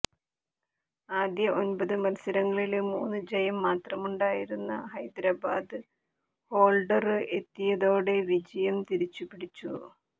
ആദ്യ ഒന്പത് മത്സരങ്ങളില് മൂന്ന് ജയം മാത്രമുണ്ടായിരുന്ന ഹൈദരാബാദ് ഹോള്ഡര് എത്തിയതോടെ വിജയം തിരിച്ചുപിടിച്ചു